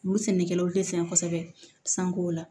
Olu sɛnɛkɛlaw tɛ sɔn kosɛbɛ